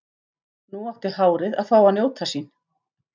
Nú átti hárið að fá að njóta sín.